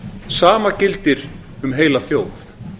sama gildir um heila þjóð